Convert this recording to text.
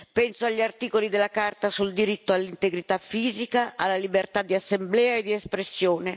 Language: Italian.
Penso agli articoli della Carta sul diritto all'integrità fisica, alla libertà di assemblea e di espressione.